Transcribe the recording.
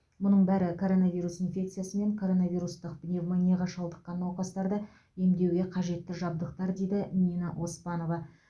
мұның бәрі коронавирус инфекциясы мен коронавирустық пневмонияға шалдыққан науқастарды емдеуге қажетті жабдықтар дейді нина оспанова